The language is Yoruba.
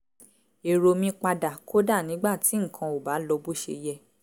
èrò mi padà kódà nígbà tí nǹkan ò bá lọ bó ṣe yẹ